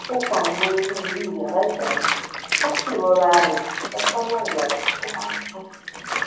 ó pa àwọn iná inú yàrá ìgbàlejò ó sì rọra rìn lọ sọnà yàrá tó ma sùn